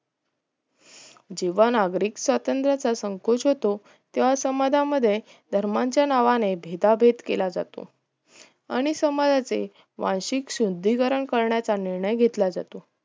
जेव्हा नागरिक स्वत्रंत याचा संकोच होतो तेव्हा समाजांमध्ये धर्माच्या नावाने भेदाभेद केला जातो आणि समाजाचे वार्षिक शुद्धीकर करण्याचा निर्णय घेतला जातो